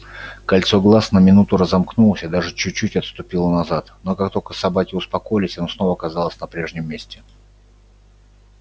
кольцо глаз на минуту разомкнулось и даже чуть-чуть отступило назад но как только собаки успокоились оно снова оказалось на прежнем месте